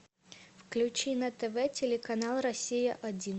включи на тв телеканал россия один